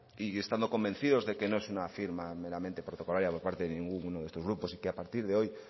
y estando convencidos de que no es una firma meramente protocolaria por parte de ninguno de nuestros grupos y que a partir de hoy